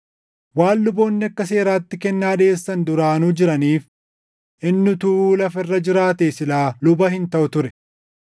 Waan luboonni akka seeraatti kennaa dhiʼeessan duraanuu jiraniif, inni utuu lafa irra jiraatee silaa luba hin taʼu ture.